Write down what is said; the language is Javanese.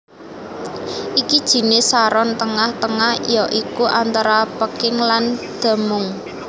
Iki jinis saron tengah tengah ya iku antara peking lan demung